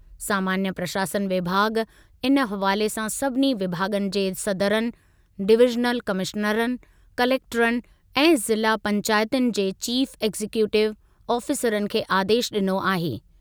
सामान्य प्रशासन विभाॻ इन हवाले सां सभिनी विभाॻनि जे सदरनि, डिविज़नल कमिश्नरनि, कलेक्टरनि ऐं ज़िला पैंचातुनि जे चीफ़ एक्ज़ीक्यूटिव आफीसरनि खे आदेशु ॾिनो आहे।